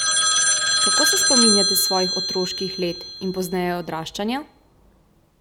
Kako se spominjate svojih otroških let in pozneje odraščanja?